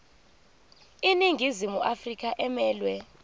iningizimu afrika emelwe